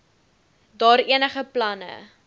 daar enige planne